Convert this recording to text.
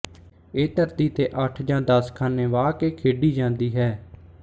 ਇਹ ਧਰਤੀ ਤੇ ਅੱਠ ਜਾਂ ਦਸ ਖਾਨੇ ਵਾਹ ਕੇ ਖੇਡੀ ਜਾਂਦੀ ਹੈ